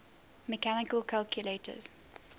mechanical calculators